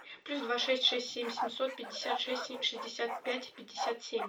плюс два шесть шесть семь семьсот пятьдесят шесть шестьдесят пять пятьдесят семь